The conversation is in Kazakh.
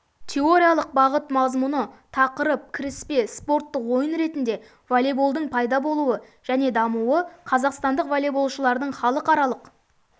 теориялық бағыт мазмұны тақырып кіріспе спорттық ойын ретінде волейболдың пайда болуы және дамуы қазақстандық волейболшылардың халықаралық